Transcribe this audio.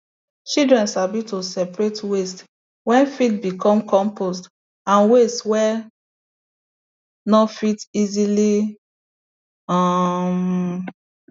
children sabi to separate waste wey fit become compost and waste wey no fit easily um